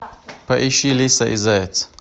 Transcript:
поищи лиса и заяц